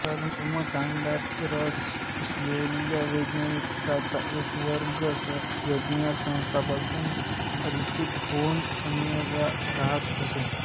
कर्मकांडात रस नसलेल्या वैदिकांचा एक वर्ग यज्ञसंस्थेपासून अलिप्त होऊन अरण्यात राहत असे